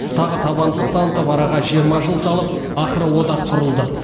тағы табандылық танытып араға жиырма жыл салып ақыры одақ құрылды